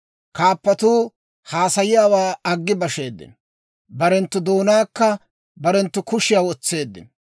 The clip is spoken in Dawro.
Kaappatuu haasayiyaawaa aggi basheeddino; barenttu doonaankka barenttu kushiyaa wotseeddino.